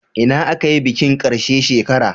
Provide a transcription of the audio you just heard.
Ina aka yi bikin karshe shekara?